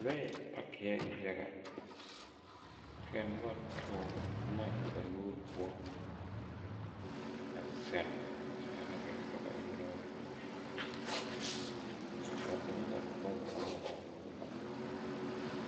Lɔɛ pakiɛɛ yaga kyɛ ka nobɔ toore bomma eŋ ba nuure poɔ a zeŋzenɛ gɛrɛ ka eŋ lɔɔreŋ ba eŋ la bonzeere ba nuureŋ.